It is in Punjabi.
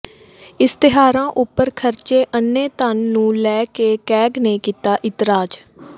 ਇਸ਼ਤਿਹਾਰਾਂ ਉੱਪਰ ਖਰਚੇ ਅੰਨ੍ਹੇ ਧਨ ਨੂੰ ਲੈ ਕੇ ਕੈਗ ਨੇ ਕੀਤਾ ਇਤਰਾਜ਼